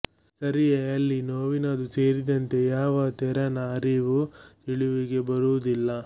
ಸರಿಯೆ ಅಲ್ಲಿ ನೋವಿನದೂ ಸೇರಿದಂತೆ ಯಾವ ತೆರನ ಅರಿವೂ ತಿಳಿವಿಗೆ ಬರುವುದಿಲ್ಲ